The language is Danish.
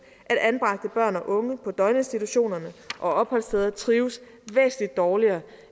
at anbragte børn og unge på døgninstitutionerne og opholdsstederne trives væsentlig dårligere